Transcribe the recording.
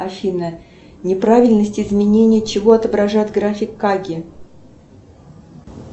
афина неправильность изменения чего отображает график каги